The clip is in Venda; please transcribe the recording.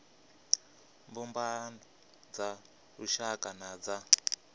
mbumbano dza lushaka na dza